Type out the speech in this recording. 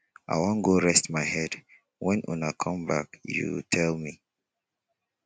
i wan go rest my head when una come back you tell me